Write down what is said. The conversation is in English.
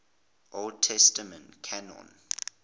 old testament canon